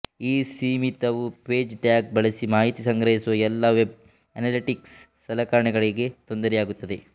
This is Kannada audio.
ಈ ಸೀಮಿತವು ಪೇಜ್ ಟ್ಯಾಗ್ ಬಳಸಿ ಮಾಹಿತಿ ಸಂಗ್ರಹಿಸುವ ಎಲ್ಲಾ ವೆಬ್ ಅನಾಲಿಟೀಕ್ಸ್ ಸಲಕರಣೆಗಳಿಗೆ ತೊಂದರೆಯಾಗುತ್ತದೆ